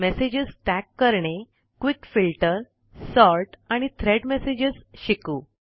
messages tag करणे quick filter Sortआणि thread messages शिकू